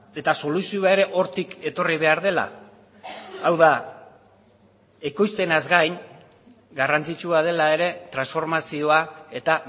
eta soluzioa ere hortik etorri behar dela hau da ekoizpenaz gain garrantzitsua dela ere transformazioa eta